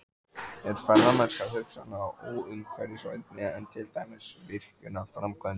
Er ferðamennska hugsanlega óumhverfisvænni en til dæmis virkjunarframkvæmdir?